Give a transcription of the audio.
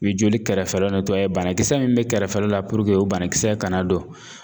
I be joli kɛrɛfɛlaw banakisɛ min bɛ kɛrɛfɛla la o banakisɛ kana don.